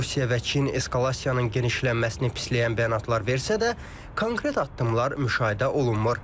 Rusiya və Çin eskalasiyanın genişlənməsini pisləyən bəyanatlar versə də, konkret addımlar müşahidə olunmur.